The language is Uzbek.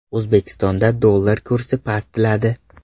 O‘zbekistonda dollar kursi pastladi.